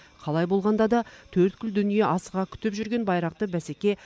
қалай болғанда да төрткүл дүние асыға күтіп жүрген байрақты бәсеке